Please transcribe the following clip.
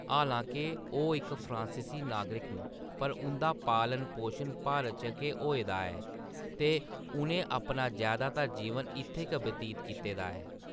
हालांके ओह्‌‌ इक फ्रांसीसी नागरिक न, पर उंʼदा पालन-पोशन भारत च गै होआ ऐ ते उʼनें अपना जैदातर जीवन इत्थैं गै बतीत कीता ऐ।